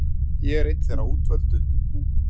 Ég er einn þeirra útvöldu.